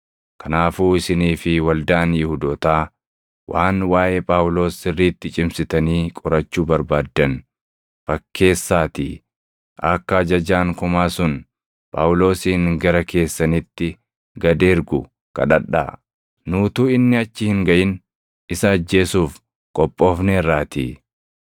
Kanaafuu isinii fi waldaan Yihuudootaa waan waaʼee Phaawulos sirriitti cimsitanii qorachuu barbaaddan fakkeessaatii akka ajajaan kumaa sun Phaawulosin gara keessanitti gad ergu kadhadhaa; nu utuu inni achi hin gaʼin isa ajjeesuuf qophoofneerraatii.”